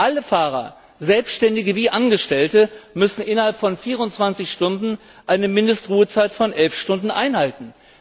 Alle Fahrer selbständige wie angestellte müssen innerhalb von 24 Stunden eine Mindestruhezeit von 11 Stunden einhalten.